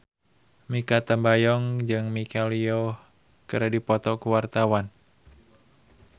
Mikha Tambayong jeung Michelle Yeoh keur dipoto ku wartawan